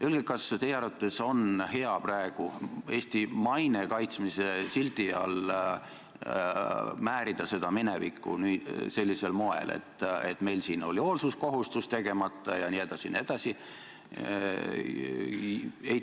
Öelge, kas teie arvates on hea praegu Eesti maine kaitsmise sildi all määrida seda minevikku sellisel moel: meil siin oli hoolsuskohustus täitmata jne, jne.